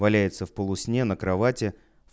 валяется в полусне на кровати